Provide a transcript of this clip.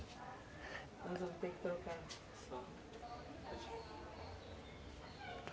Nós vamos ter que trocar